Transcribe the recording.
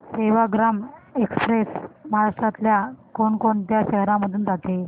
Sevagram express महाराष्ट्रातल्या कोण कोणत्या शहरांमधून जाते